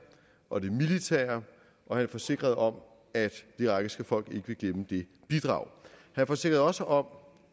og det militære og han forsikrede om at det irakiske folk ikke vil glemme det bidrag han forsikrede også om